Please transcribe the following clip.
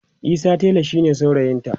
Isa tela shine saurayinta